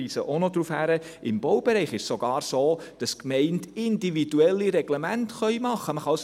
Im Baubereich ist es sogar so, dass die Gemeinden individuelle Reglemente verfassen können.